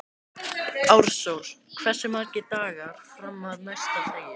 Ársól, hversu margir dagar fram að næsta fríi?